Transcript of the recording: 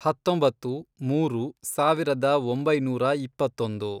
ಹತ್ತೊಂಬತ್ತು, ಮೂರು, ಸಾವಿರದ ಒಂಬೈನೂರ ಇಪ್ಪತ್ತೊಂದು